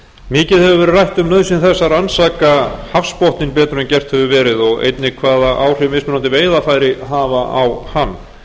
mikið hefur verið rætt um nauðsyn þess að rannsaka hafsbotninn betur en gert hefur verið og einnig hvaða áhrif mismunandi veiðarfæri hafa á hann